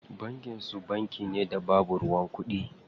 Bankin su bankin da babu ruwan kuɗi?